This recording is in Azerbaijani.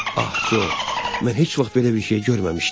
Ah Co, mən heç vaxt belə bir şey görməmişdim.